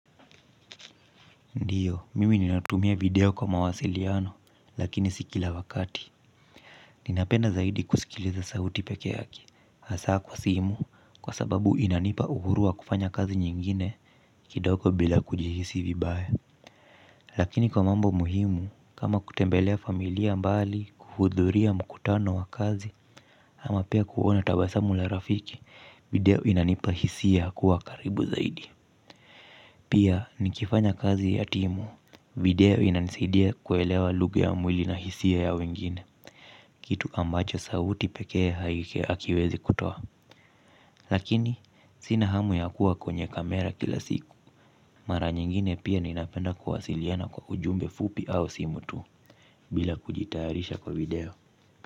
Ndiyo, mimi ninatumia video kwa mawasiliano, lakini si kila wakati. Ninapenda zaidi kusikiliza sauti pekee yaki, hasa kwa simu, kwa sababu inanipa uhuru wa kufanya kazi nyingine kidogo bila kujihisi vibaya. Lakini kwa mambo muhimu, kama kutembelea familia mbali, kuhudhuria mkutano wa kazi, ama pia kuona tabasamu la rafiki, video inanipa hisia kuwa karibu zaidi. Pia nikifanya kazi ya timu, video inanisidia kuelewa lugha ya mwili na hisia ya wengine, kitu ambacho sauti pekee hakiwezi kutoa. Lakini, sina hamu ya kuwa kwenye kamera kila siku, mara nyingine pia ninapenda kuwasiliana kwa ujumbe fupi au simu tu, bila kujitayarisha kwa video.